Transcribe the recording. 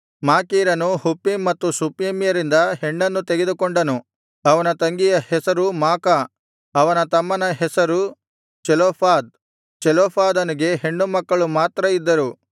ಮಾಕೀರನು Huppim ಮತ್ತು ಶುಪ್ಪೀಮ್ಯರಿಂದ ಹೆಣ್ಣನ್ನು ತೆಗೆದುಕೊಂಡನು ಅವನ ತಂಗಿಯ ಹೆಸರು ಮಾಕ ಅವನ ತಮ್ಮನ ಹೆಸರು ಚೆಲೋಫಾದ್ ಚೆಲೋಫಾದನಿಗೆ ಹೆಣ್ಣು ಮಕ್ಕಳು ಮಾತ್ರ ಇದ್ದರು